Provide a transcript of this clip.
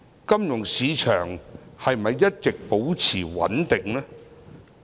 金融市場是否一直保持穩定？